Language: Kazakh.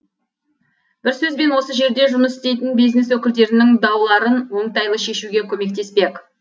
бір сөзбен осы жерде жұмыс істейтін бизнес өкілдерінің дауларын оңтайлы шешуіге көмектеспек